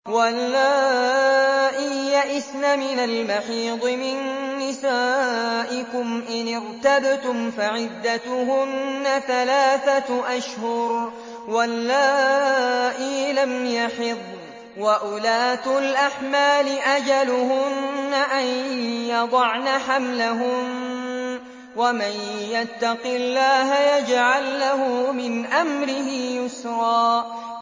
وَاللَّائِي يَئِسْنَ مِنَ الْمَحِيضِ مِن نِّسَائِكُمْ إِنِ ارْتَبْتُمْ فَعِدَّتُهُنَّ ثَلَاثَةُ أَشْهُرٍ وَاللَّائِي لَمْ يَحِضْنَ ۚ وَأُولَاتُ الْأَحْمَالِ أَجَلُهُنَّ أَن يَضَعْنَ حَمْلَهُنَّ ۚ وَمَن يَتَّقِ اللَّهَ يَجْعَل لَّهُ مِنْ أَمْرِهِ يُسْرًا